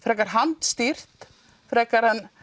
handstýrt en